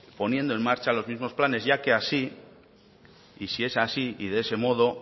poniendo en marcha los mismos planes ya que así y si es así y de ese modo